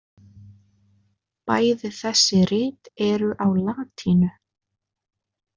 Bæði þessi rit eru á latínu.